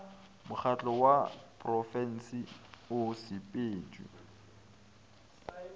mokgatlo wa porofensi o sepetšwe